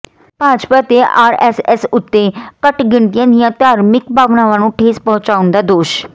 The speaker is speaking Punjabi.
ਭਾਜਪਾ ਤੇ ਆਰਐਸਐਸ ਉਤੇ ਘੱਟ ਗਿਣਤੀਆਂ ਦੀਆਂ ਧਾਰਮਿਕ ਭਾਵਨਾਵਾਂ ਨੂੰ ਠੇਸ ਪਹੁੰਚਾਉਣ ਦਾ ਦੋਸ਼